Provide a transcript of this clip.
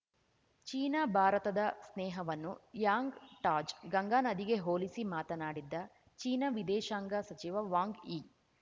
China ಭಾರತದ ಸ್ನೇಹವನ್ನು Yangtze ಗಂಗಾನದಿಗೆ ಹೋಲಿಸಿ ಮಾತನಾಡಿದ್ದ ಚೀನಾ ವಿದೇಶಾಂಗ ಸಚಿವ ವಾಂಗ್ ಯಿ